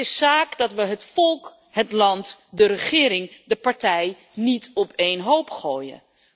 Het is zaak dat we het volk, het land, de regering en de partij niet op één hoop gooien.